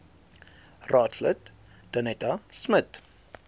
raadslid danetta smit